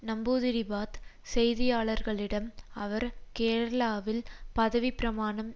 நம்பூத்திரிபாத் செய்தியாளர்களிடம் அவர் கேரளாவில் பதவி பிரமாணம்